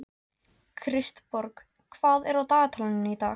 Kristborg, hvað er á dagatalinu í dag?